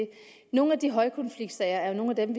nogle af de højkonfliktsager er jo nogle af dem